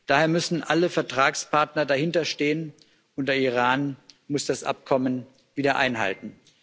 Daher müssen alle Vertragspartner dahinterstehen, und der Iran muss das Abkommen wieder einhalten.